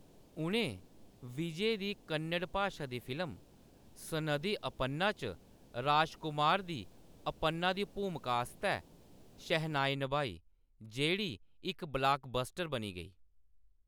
उʼनें विजय दी कन्नड़ भाशा दी फिल्म सनदी अपन्ना च राजकुमार दी अपन्ना दी भूमका आस्तै शहनाई नभाई जेह्‌‌ड़ी इक ब्लाकबस्टर बनी गेई।